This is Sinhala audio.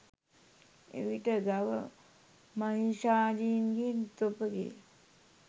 එවිට ගව මහීෂාදීන්ගෙන් තොපගේ